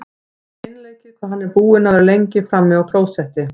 Það er ekki einleikið hvað hann er búinn að vera lengi frammi á klósetti!